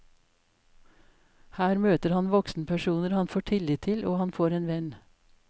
Her møter han voksenpersoner han får tillit til og han får en venn.